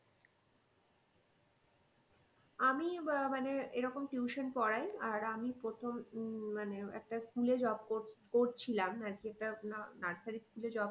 আমি আহ মানে এরকম tuition পড়াই আর আমি প্রথম উম মানে একটা school এ job করছিলাম আর কি একটা nursery school এ job